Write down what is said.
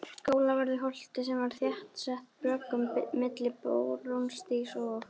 Skólavörðuholti sem var þéttsett bröggum milli Barónsstígs og